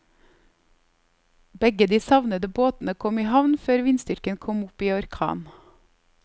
Begge de savnede båtene kom i havn før vindstyrken kom opp i orkan.